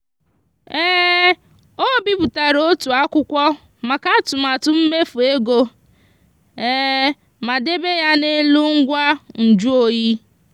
o bipụtara otu akwụkwọ maka atụmatụ mmefu ego ma debe ya n'elu ngwa njụ oyi.